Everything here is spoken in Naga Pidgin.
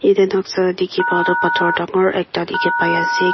yatey nuksa dikhi pa toh pathor dangor ekta dikhi pai ase.